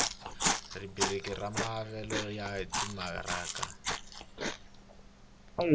rhubiriki ya maavelo ya timaraka